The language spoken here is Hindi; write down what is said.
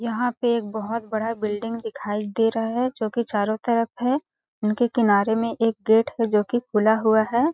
यहाँ पे एक बहोत बड़ा बिलडिंग दिखाई दे रहा है जोकि चारो तरफ है उनके किनारे में एक गेट है जोकि खुला हुआ है।